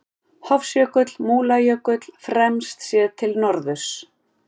Hofsjökull, Múlajökull fremst, séð til norðurs.